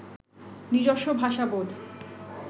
নিজস্ব ভাষা বোধ